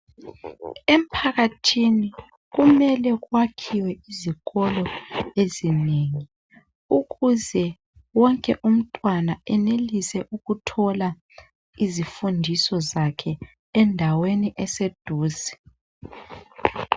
Emphakathini kumele kwakhiwe izikolo ezinengi ukuze wonke umntwana enelise ukuthola izifundiso zakhe endaweni eseduze.